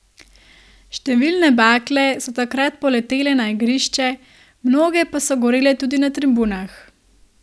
Številne bakle so takrat poletele na igrišče, mnoge pa so gorele tudi na tribunah.